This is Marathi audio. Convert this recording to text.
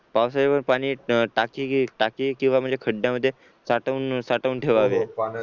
पावसाचे पण पाणी टाकी टाकी किंवा खड्ड्यामध्ये साठवून साठवून ठेवावे.